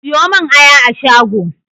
Siyo mun aya a shago!